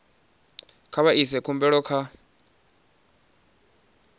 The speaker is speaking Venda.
kha vha ise khumbelo kha